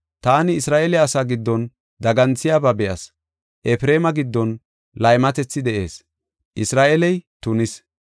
Taani Isra7eele asaa giddon daganthiyaba be7as. Efreema giddon laymatethi de7ees; Isra7eeley tunis.